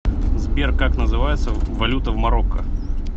сбер как называется валюта в марокко